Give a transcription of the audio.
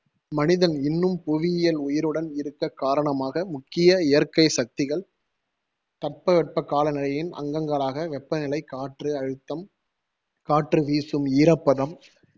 மனிதன் இன்னும் புவியியல் உயிருடன் இருக்க காரணமாக முக்கிய இயற்கை சக்திகள். தட்பவெப்பக்காலநிலையின் அங்கங்களாக வெப்பநிலை, காற்று அழுத்தம், காற்று வீசும், ஈரப்பதம்